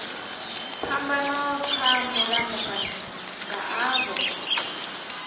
phambano kha mulamukanyi nga avho